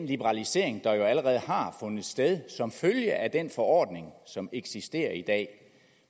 liberalisering der jo allerede har fundet sted som følge af den forordning som eksisterer i dag